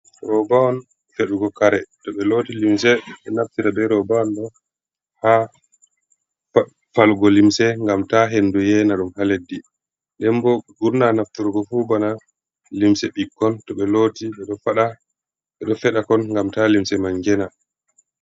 Roba'on feɗugo Kare to ɓe loti Limse, ɓe naftira be roba manɗo ha fal falugo limse ngam ta hendu Yendina ɗum ha leddi. Ndenbo ɓurna nafturgo fu bana limse ɓikkon toɓe Loti ɓeɗo feɗakon ngam ta Limse man gena.